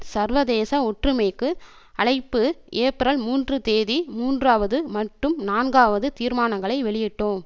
சர்வதேச ஒற்றுமைக்கு அழைப்பு ஏப்ரல்மூன்றுந்தேதி மூன்றாவது மட்டும் நான்காவது தீர்மானங்களை வெளியிட்டோம்